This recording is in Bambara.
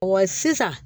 sisan